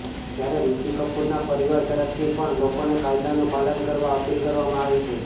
જ્યારે ઋષિ કપૂરના પરિવાર તરફથી પણ લોકોને કાયદાનું પાલન કરવા અપીલ કરવામાં આવી છે